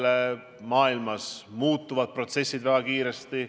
Kogu maailmas muutuvad protsessid väga kiiresti.